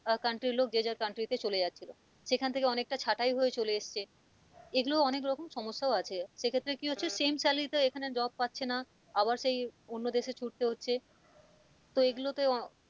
আহ country এর লোক যে যার country তে চলে যাচ্ছে সেখান থেকে অনেকটা ছাঁটাই হয়ে চলে এসেছে এগুলো অনেক রকম সমস্যাও আছে সেক্ষেত্রে কি হচ্ছে same salary তে এখানে আর job পাচ্ছে না আবার সেই অন্য দেশে ছুটতে হচ্ছে তো এগুলোতে অ,